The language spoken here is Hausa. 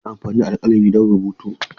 Ana amfani da alƙalami don rubutu.